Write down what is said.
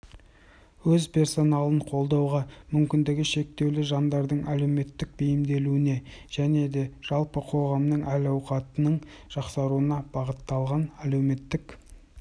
өз персоналын қолдауға мүмкіндігі шектеулі жандардың әлеуметтік бейімделуіне және жалпы қоғамның әл-ауқатының жақсаруына бағытталған әлеуметтік